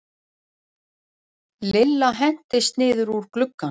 Lilla hentist niður úr glugganum.